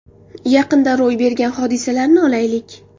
Yaqinda ro‘y bergan hodisalarni olaylik.